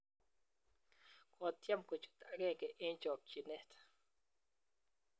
kotyem kochuut agenge eng' chokchinet